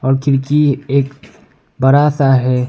और खिड़की एक बड़ा सा है।